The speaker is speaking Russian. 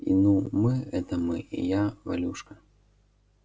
ну мы это мы я и валюшка